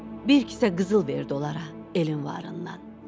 Bir kisə qızıl verdi onlara elin varından.